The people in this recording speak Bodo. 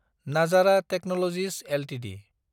Nazara Technologies Ltd